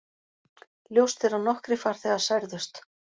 Ljóst er að nokkrir farþegar særðust